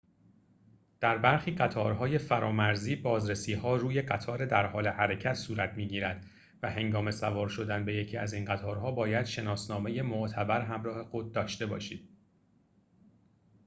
در برخی قطارهای فرامرزی بازرسی‌ها روی قطار در حال حرکت صورت می‌گیرد و هنگام سوار شدن به یکی از این قطارها باید شناسنامه معتبر همراه خود داشته باشید